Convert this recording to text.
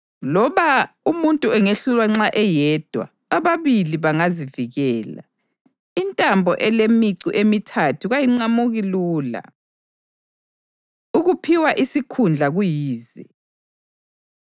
Loba umuntu engehlulwa nxa eyedwa, ababili bangazivikela. Intambo elemicu emithathu kayiqamuki lula. Ukuphiwa Isikhundla Kuyize